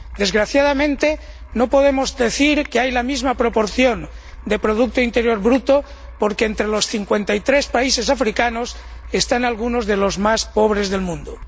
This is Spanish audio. Desgraciadamente, no podemos decir que hay la misma proporción de Producto Interior Bruto, porque entre los 53 países africanos están algunos de los más pobres del mundo.